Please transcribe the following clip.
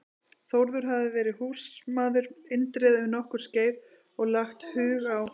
Þórður hafði verið húsmaður Indriða um nokkurt skeið og lagt hug á